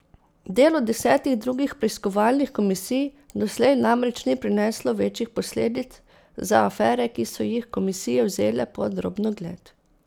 Delo desetih drugih preiskovalnih komisij doslej namreč ni prineslo večjih posledic za afere, ki so jih komisije vzele pod drobnogled.